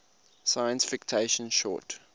science fiction short